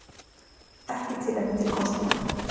Ekki tilefni til kosninga